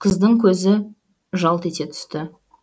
қыздың көзі жалт ете түсті